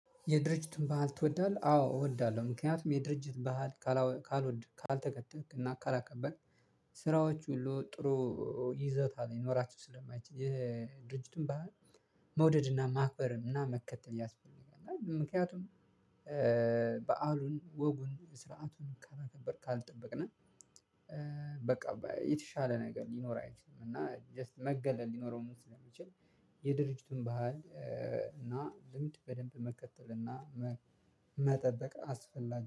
የድርጅቱን ባህል ትወዳለህ? አዎ እወዳለሁ። ምክንያቱም የድርጅት ባህል ካልወደድኩ ካልተከተላክ እና ካላከበርክ ስራዎች ሁሉ ጥሩ ይዘት ሊኖራቸው ስለማይችል። ይሄ ድርጅቱን መውደድና ማክበርንና መከተል ያስፈልጋል። ምክንያቱም በዓሉን ወጉን ስርዓቱን ከላከበርክ ካልጠበቅክ። በቃ የተሻለ ነገር ሊኖር አይችልም። እና ጀስት መገለል ሊኖረውም ስለሚችል የድርጅቱን ባህል እና ልምድ በደንብ መከተል እና መጠበቅ አስፈላጊ